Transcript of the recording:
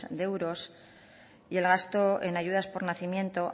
de euros y el gasto en ayudas por nacimiento